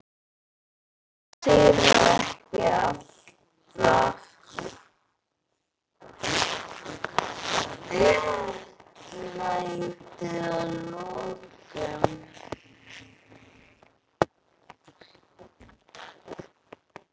Sigrar ekki alltaf réttlæti að lokum?